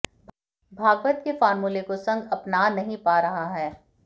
भागवत के फार्मूले को संघ अपना नहीं पा रहा है